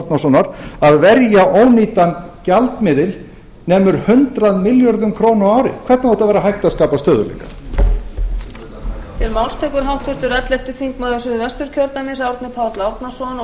árnasonar að verja ónýtan gjaldmiðil nemur hundrað milljörðum króna á ári hvernig á að vera hægt að skapa stöðugleika